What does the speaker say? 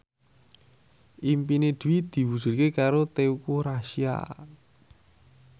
impine Dwi diwujudke karo Teuku Rassya